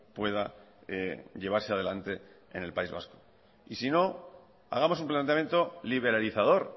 pueda llevarse adelante en el país vasco y si no hagamos un planteamiento liberalizador